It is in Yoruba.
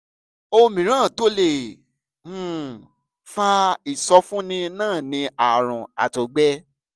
ohun mìíràn tó lè um fa ìsọfúnni náà ni àrùn àtọgbẹ